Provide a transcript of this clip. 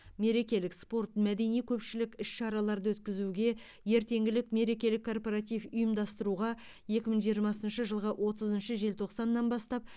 мерекелік спорт мәдени көпшілік іс шараларды өткізуге ертеңгілік мерекелік корпоратив ұйымдастыруға екі мың жиырмасыншы жылғы отызыншы желтоқсаннан бастап